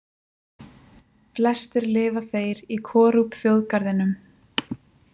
Flestir lifa þeir í Korup-þjóðgarðinum.